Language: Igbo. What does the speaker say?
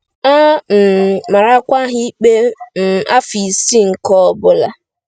A um marakwa ha ikpe um afọ isii nke ọ bụla.